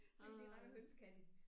Så kan de rende og hønse kan de